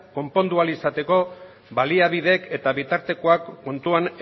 konpondu ahal izateko baliabideek eta bitartekoak kontuan